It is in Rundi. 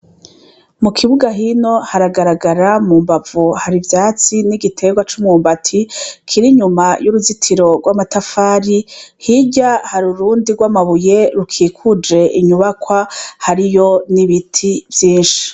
Mukibuga hino hahagarara mumbavu harivyatsi nigiterwa cumwumbati kirinyuma yuruzitiro rwamatafari hirya harurundi rwamabuye rukikuje inyubakwa hariyo nibiti vyinshi